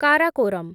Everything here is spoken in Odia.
କାରାକୋରମ୍